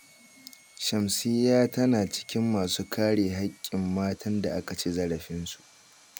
Shamsiyya tana cikin masu kare hakkin matan da aka ci zarafinsu